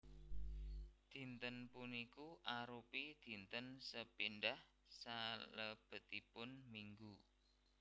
Dinten puniku arupi dinten sepindhah salebetipun minggu